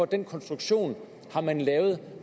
den konstruktion har man lavet